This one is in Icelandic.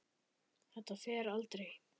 Þetta fer aldrei.